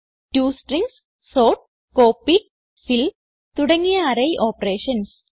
to strings sort copy fill തുടങ്ങിയ array operations